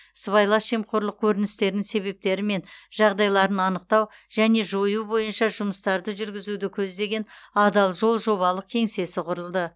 сыбайлас жемқорлық көріністерінің себептері мен жағдайларын анықтау және жою бойынша жұмыстарды жүргізуді көздеген адал жол жобалық кеңсесі құрылды